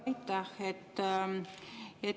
Aitäh!